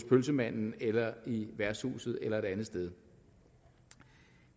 pølsevognen eller værtshuset eller et andet sted